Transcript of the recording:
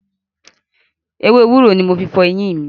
Ewé ewúro ni mo fi fọ eyín mi.